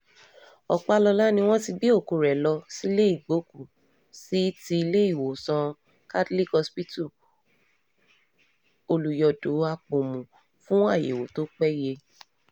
ọpàlọ́lá ni wọ́n ti gbé òkú rẹ̀ lọ um sílé ìgbókùú-sí ti iléèwòsàn catholic hospital olùyọ̀dọ̀ àpọ̀mù um fún àyẹ̀wò tó péye